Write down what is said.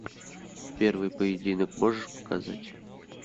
первый поединок можешь показать